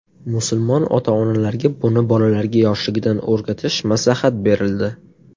Musulmon ota-onalarga buni bolalarga yoshligidan o‘rgatish maslahat berildi.